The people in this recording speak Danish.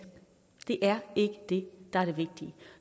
det er ikke det der er det vigtige